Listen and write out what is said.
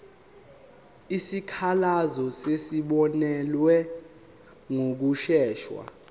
izikhalazo zizobonelelwa ngokushesha